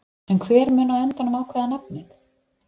En hver mun á endanum ákveða nafnið?